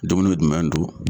Dumuni dumɛn do?